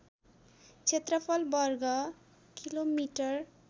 क्षेत्रफल वर्ग कि मि